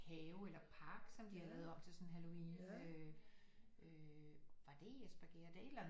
Have eller park som de har lavet om til sådan halloween øh var det i Espergærde det er et eller andet